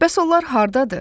Bəs onlar hardadır?